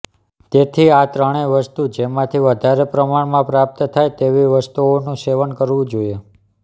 તેથી આ ત્રણેય વસ્તુ જેમાથી વધારે પ્રમાણમાં પ્રાપ્ત થાય તેવી વસ્તુઓનું સેવન કરવું જોઇએ